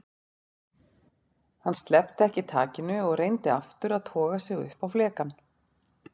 Hann sleppti ekki takinu og reyndi aftur að toga sig upp á flekann.